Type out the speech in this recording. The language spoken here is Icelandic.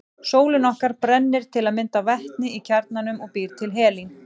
Sólin okkar brennir til að mynda vetni í kjarnanum og býr til helín.